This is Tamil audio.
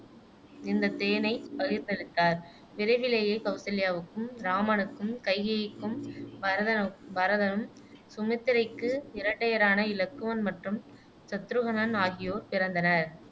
இந்த தேனை பகிர்ந்தளித்தார் விரைவிலேயே கௌசல்யாவுக்கு இராமனுக்கும், கைகேயிக்கு பரதனு பரதனும், சுமித்திரைக்கு இரட்டையரான இலக்குவன் மற்றும் சத்ருகனன் ஆகியோர் பிறந்தனர்